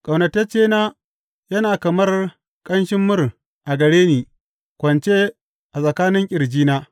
Ƙaunataccena yana kamar ƙanshin mur a gare ni, kwance a tsakanin ƙirjina.